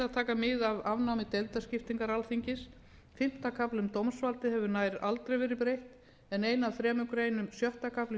taka mið af afnámi deildaskiptingar alþingis fimmta kafla um dómsvaldið hefur nær ekkert verið breytt en ein af þremur greinum sjötta kafla um